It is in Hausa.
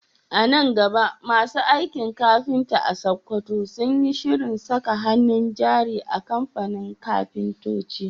A nan gaba masu aikin kafinta a Sakkwato sun yi shirin saka hannun jari a kamfanin kafintoci